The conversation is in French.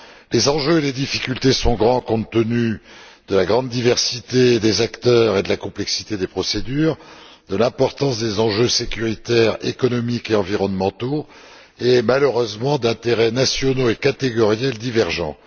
Les enjeux et les difficultés sont grands, compte tenu de la grande diversité des acteurs et de la complexité des procédures, de l'importance des enjeux sécuritaires, économiques et environnementaux et, malheureusement, d'intérêts nationaux et catégoriels divergents.